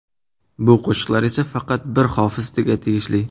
Bu qo‘shiqlar esa faqat bir hofizga tegishli!